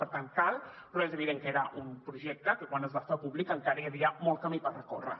per tant cal però és evident que era un projecte que quan es va fer públic encara hi havia molt camí per recórrer